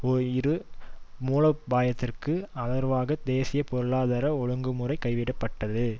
ஒரு மூலோபாய த்திற்கு ஆதரவாக தேசிய பொருளாதார ஒழுங்குமுறை கைவிடப்பட்டது